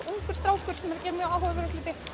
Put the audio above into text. ungur strákur að gera áhugaverða hluti